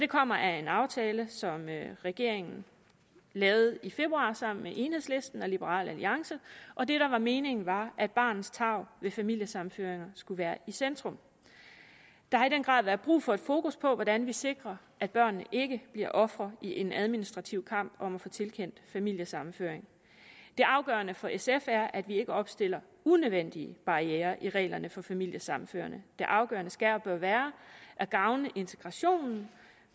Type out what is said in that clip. kommer af en aftale som regeringen lavede i februar sammen med enhedslisten og liberal alliance og det der var meningen var at barnets tarv ved familiesammenføringer skulle være i centrum der har i den grad været brug for et fokus på hvordan vi sikrer at børnene ikke bliver ofre i en administrativ kamp om at få tilkendt familiesammenføring det afgørende for sf er at vi ikke opstiller unødvendige barrierer i reglerne for familiesammenføring det afgørende skal og bør være at gavne integrationen